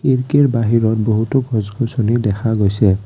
খিৰিকীৰ বাহিৰত বহুতো গছ গছনি দেখা গৈছে।